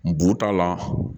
Bu ta la